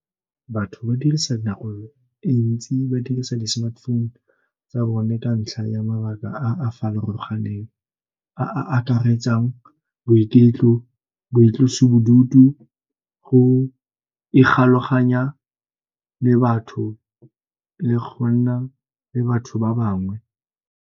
Batho ba dirisa dinako e ntsi, ba dirisa di-smartphone tsa bone ka ntlha ya mabaka a a farologaneng, a a akaretsang boitlosibodutu go ikgolaganya le batho le go nna le batho ba bangwe.